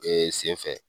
Ee sen fɛ